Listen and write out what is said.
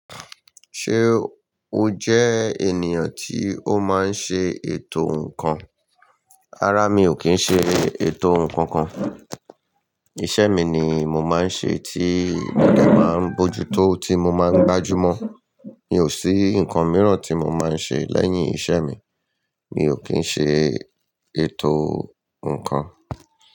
Ṣé o jẹ ènìyàn tí ó máa ń ṣe ètò ǹkan? Rárá, mi ò kí ń ṣe ètò ǹkan kan. Iṣẹ́ mi ni mo máa ń ṣe tí mo dẹ máa ń bójú tó ti mo máa ń gbájú mọ́. Mi ò sí ǹkan mìíràn tí mo máa ń ṣe lẹ́yìn ìṣe mi. Mi ò kí ń ṣe ètò ǹkan.